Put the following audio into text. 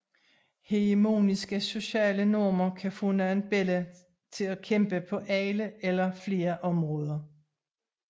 Hegemoniske sociale normer kan få nogle børn til at kæmpe på alle eller flere områder